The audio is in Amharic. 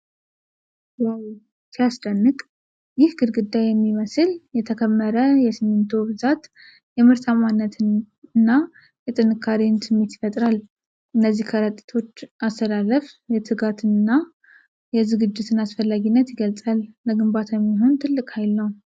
"ዋው! ሲያስደንቅ!" ይህ ግድግዳ የሚመስል የተከመረ የሲሚንቶ ብዛት የምርታማነትን እና የጥንካሬን ስሜት ይፈጥራል። የእነዚህ ከረጢቶች አሰላለፍ የትጋትን እና የዝግጅትን አስፈላጊነት ይገልጻል። ለግንባታ የሚሆን ትልቅ ኃይል ነው።